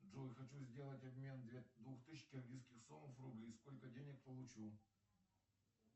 джой хочу сделать обмен две двух тысяч киргизских сомов в рубли сколько денег получу